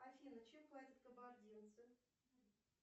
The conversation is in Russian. афина чем платят кабардинцы